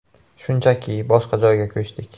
Shunchaki, boshqa joyga ko‘chdik.